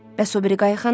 Bəs o biri qayıq hanı?